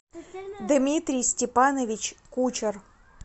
дмитрий степанович кучер